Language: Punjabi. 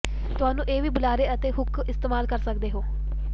ਤੁਹਾਨੂੰ ਇਹ ਵੀ ਬੁਲਾਰੇ ਅਤੇ ਹੁੱਕ ਇਸਤੇਮਾਲ ਕਰ ਸਕਦੇ ਹੋ